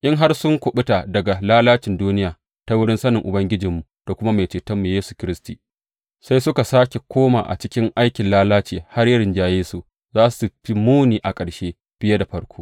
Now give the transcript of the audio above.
In har sun kuɓuta daga lalacin duniya ta wurin sanin Ubangijinmu da kuma Mai Cetonmu Yesu Kiristi sai suka sāke koma a cikin lalacin, har ya rinjaye su, za su fi muni a ƙarshe fiye da farko.